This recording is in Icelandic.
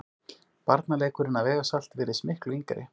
Barnaleikurinn að vega salt virðist miklu yngri.